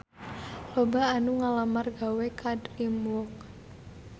Loba anu ngalamar gawe ka DreamWorks